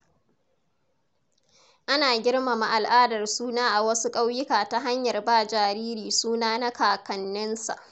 Ana girmama al’adar suna a wasu ƙauyuka ta hanyar ba jariri suna na kakanninsa.